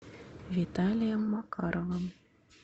виталием макаровым